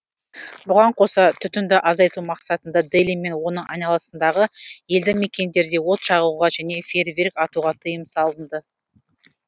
бұған қоса түтінді азайту мақсатында дели мен оның айналасындағы елді мекендерде от жағуға және фейерверк атуға тыйым салынды